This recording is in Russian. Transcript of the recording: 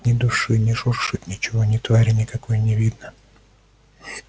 ни души не шуршит ничего ни твари никакой не видно